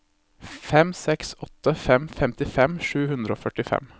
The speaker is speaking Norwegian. fem seks åtte fem femtifem sju hundre og førtifem